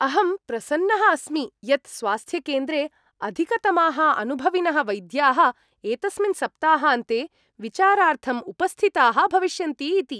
अहं प्रसन्नः अस्मि यत् स्वास्थ्यकेन्द्रे अधिकतमाः अनुभविनः वैद्याः एतस्मिन् सप्ताहान्ते विचारार्थम् उपस्थिताः भविष्यन्ति इति।